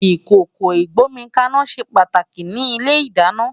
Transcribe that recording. Ikókó igbómikàná sé pàtáki ni ilé-idàná